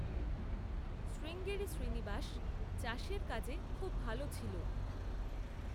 শ্রীঙ্গেরি শ্রীনিবাস চাষের কাজে খুব ভালো ছিল।